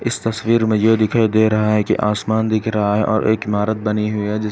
इस तस्वीर मे यह दिखाई दे रहा है कि आसमान दिख रहा है और एक इमारत बनी है है जिसमे --